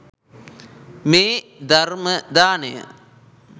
මේ ධර්ම දානය